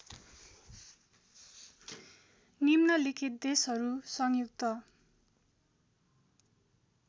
निम्नलिखित देशहरू संयुक्त